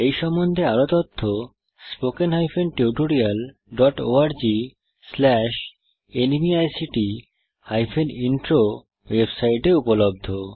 এই সম্বন্ধে আরও তথ্য spoken hyphen tutorial dot org slash NMEICT hyphen intro ওয়েবসাইটে উপলব্ধ